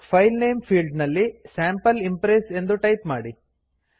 file name field ಅಲ್ಲಿ sample impress ಎಂದು type ಮಾಡಿ